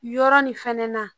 Yɔrɔ nin fɛnɛ na